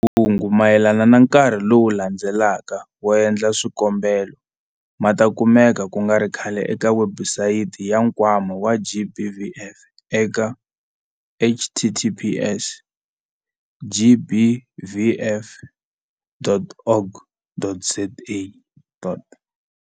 Mahungu mayelana na nkarhi lowu landzelaka wo endla swikombelo ma ta kumeka ku nga ri khale eka webusayiti ya Nkwama wa GBVF eka- https- gbvf.org.za dot.